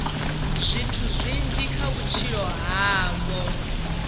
zwithu zwinzhi kha vhutshilo havho